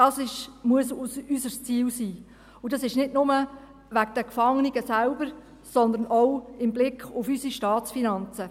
Dies muss für uns das Ziel sein – und dies nicht nur wegen der Gefangenen selber, sondern auch mit Blick auf unsere Staatsfinanzen.